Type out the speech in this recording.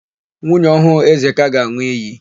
Nwunye ọhụụ Ezeka ga-an̄ụ iyi.